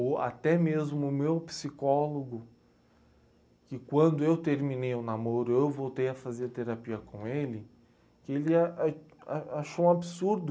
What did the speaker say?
Ou até mesmo o meu psicólogo, que quando eu terminei o namoro, eu voltei a fazer terapia com ele, que ele ah a achou um absurdo.